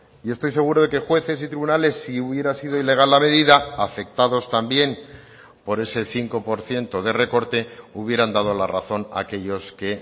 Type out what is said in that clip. y estoy seguro de que jueces y tribunales si hubiera sido ilegal la medida afectados también por ese cinco por ciento de recorte hubieran dado la razón a aquellos que